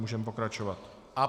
Můžeme pokračovat.